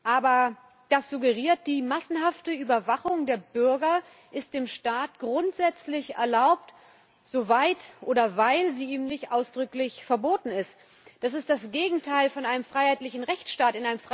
Aber das suggeriert die massenhafte Überwachung der Bürger, die dem Staat grundsätzlich erlaubt ist, soweit oder weil sie eben nicht ausdrücklich verboten ist. Das ist das Gegenteil von einem freiheitlichen Rechtsstaat.